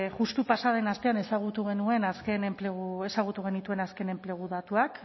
justu pasa den astean ezagutu genuen azken enplegu ezagutu genituen azken enplegu datuak